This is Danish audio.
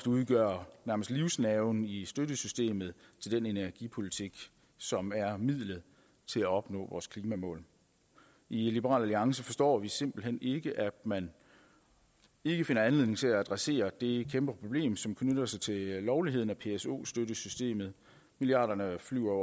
udgør livsnerven i støttesystemet til den energipolitik som er midlet til at opnå klimamålene i liberal alliance forstår vi simpelt hen ikke at man ikke finder anledning til at adressere det kæmpe problem som knytter sig til lovligheden af pso støttesystemet milliarderne flyver